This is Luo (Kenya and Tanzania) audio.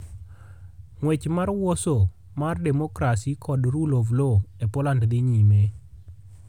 Ng'wech mar Warsaw mar #democracy kod #rule of law e #Poland dhi nyime...